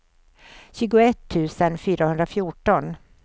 tjugoett tusen fyrahundrafjorton